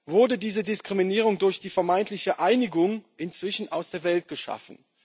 Wurde diese Diskriminierung durch die vermeintliche Einigung inzwischen aus der Welt geschafft?